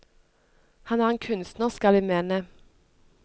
Han er en kunstner, skal vi mene.